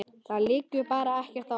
Það liggur bara ekkert á.